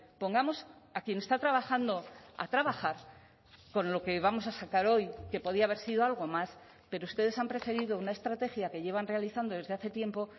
pongamos a quien está trabajando a trabajar con lo que vamos a sacar hoy que podía haber sido algo más pero ustedes han preferido una estrategia que llevan realizando desde hace tiempo